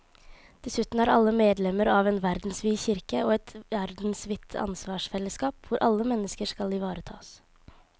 Dessuten er alle medlemmer av en verdensvid kirke og et verdensvidt ansvarsfellesskap hvor alle mennesker skal ivaretas.